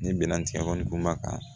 Ni binnkanni kumakan